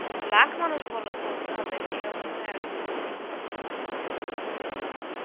লাখ মানুষ বলা~ বলতে হবে এই অবস্থায় আছে.